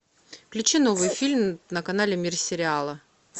включи новый фильм на канале мир сериала